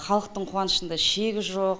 халықтың қуанышында шек жоқ